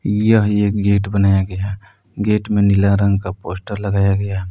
यह एक गेट बनाया गया गेट में नीला रंग का पोस्टर लगाया गया--